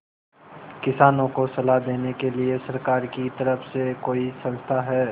किसानों को सलाह देने के लिए सरकार की तरफ से कोई संस्था है